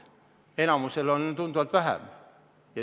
Enamikul on tunduvalt vähem.